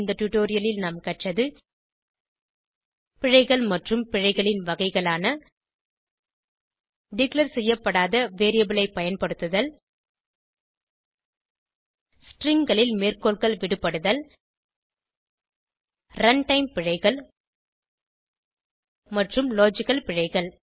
இந்த டுடோரியலில் நாம் கற்றது பிழைகள் மற்றும் பிழைகளின் வகைகளான டிக்ளேர் செய்யப்படாத வேரியபிள் ஐ பயன்படுத்துதல் stringகளில் மேற்கோள்கள் விடுபடுதல் ரன்டைம் பிழைகள் மற்றும் லாஜிக்கல் பிழைகள்